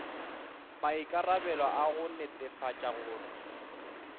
maikarabelo a go netefatša gore